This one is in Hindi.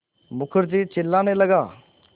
मुखर्जी चिल्लाने लगा